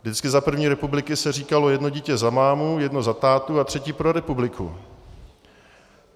Vždycky za první republiky se říkalo jedno dítě za mámu, jedno za tátu a třetí pro republiku.